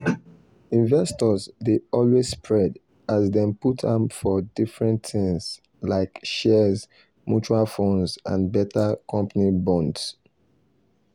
investors dey always spread as dem put am for different things like shares mutual funds and better company bonds.